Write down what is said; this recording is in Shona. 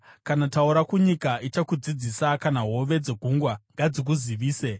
kana taura kunyika, ichakudzidzisa, kana hove dzegungwa ngadzikuzivise.